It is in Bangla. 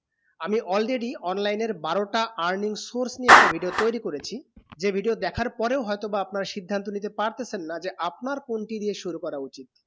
আমি already online এর বারো তা earning source নিয়ে একটা video তয়রি করেছি যে video দেখা পরে হয়ে তো বা আপনার সিদ্ধান্ত নিতে পারতেচেন না যে আপনার কোন টি দিয়ে শুরু করা উচিত।